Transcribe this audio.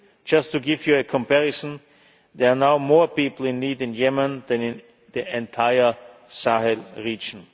Just to give you a comparison there are now more people in need in Yemen than in the entire Sahel region.